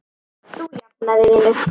Þú jafnar þig vinur.